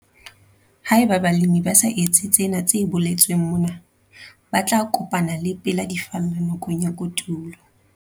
Haeba balemi ba sa etse tsena tse boletsweng mona, ba tla kopana le pela di falla nakong ya kotulo.